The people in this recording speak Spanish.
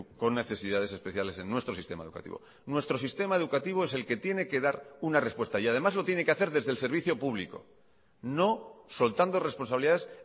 con necesidades especiales en nuestro sistema educativo nuestro sistema educativo es el que tiene que dar una respuesta y además lo tiene que hacer desde el servicio público no soltando responsabilidades